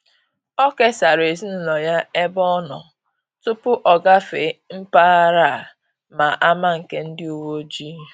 Ọ kesara ezinụlọ ya ebe ọ nọ tupu o gafee mpaghara a ma ama nke ndị uweojii